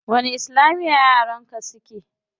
Wani islamiya yaran ka suke?